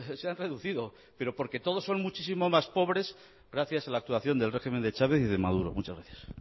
se han reducido pero porque todos son muchísimo más pobres gracias a la actuación del régimen de chávez y de maduro muchas gracias